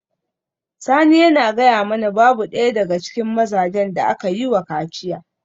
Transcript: Sani yana gaya mana babu daya daga cikin mazajen da aka yi wa kaciya